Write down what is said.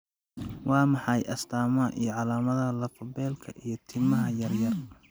Waa maxay astamaha iyo calaamadaha lafo-beelka iyo timaha yar yar?